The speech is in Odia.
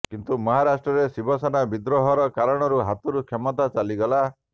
କିନ୍ତୁ ମହାରାଷ୍ଟ୍ରରେ ଶିବସେନାର ବିଦ୍ରୋହ ର କାରଣରୁ ହାତରୁ କ୍ଷମତା ଚାଲିଗଲା